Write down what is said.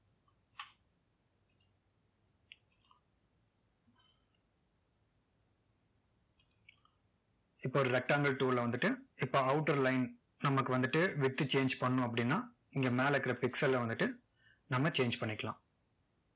இப்போ ஒரு rectangle tool ல வந்துட்டு இப்போ outer line நமக்கு வந்துட்டு width change பண்ணணும் அப்படின்னா இங்க மேல இருக்க pixel ல வந்துட்டு நம்ம change பன்ணிக்கலாம்